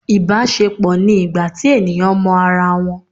ibaṣepọ ni ìgbà tí eníyan mọ ará wón